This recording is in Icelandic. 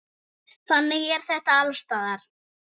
Þannig er þetta alls staðar.